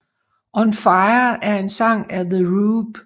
On Fire er en sang af The Roop